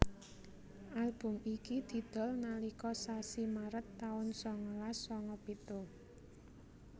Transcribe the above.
Album iki didol nalika sasi Maret taun sangalas sanga pitu